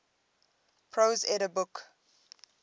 prose edda book